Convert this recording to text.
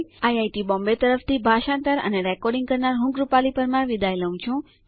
IIT Bombay તરફથી ભાષાંતર કરનાર હું કૃપાલી પરમાર વિદાય લઉં છું